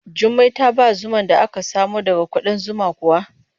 Jummai ta ba zuman da aka samo daga kuɗan zuman kuwa?